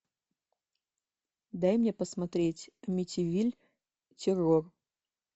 дай мне посмотреть амитивилль террор